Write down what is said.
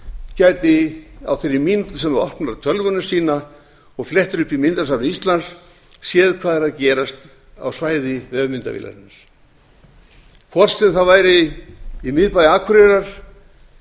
gæti á þeirri mínútu sem það opnar tölvuna sína og flettir upp í myndasafni íslands séð hvað er að gerast á svæði vefmyndavélarinnar hvort sem það væri í miðbæ akureyrar